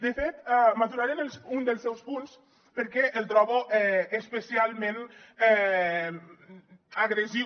de fet m’aturaré en un dels seus punts perquè el trobo especialment agressiu